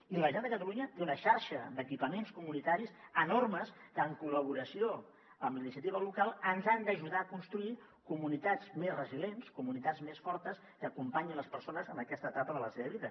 i la generalitat de catalunya té una xarxa d’equipaments comunitaris enormes que en col·laboració amb la iniciativa local ens han d’ajudar a construir comunitats més resilients comunitats més fortes que acompanyin les persones en aquesta etapa de la seva vida